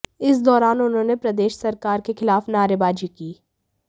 इस दौरान उन्होंने प्रदेश सरकार के खिलाफ नारेबाजी की